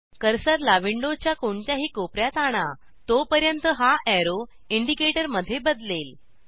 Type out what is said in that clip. कर्सरला विंडोच्या कोणत्याही कोपर्यात आणा तोपर्यंत हा एरो इंडिकेटर मध्ये बदलेल